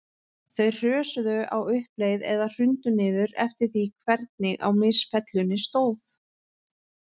Þau hrösuðu á uppleið eða hrundu niður, eftir því hvernig á misfellunni stóð.